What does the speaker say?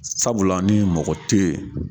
Sabula ni mɔgɔ te yen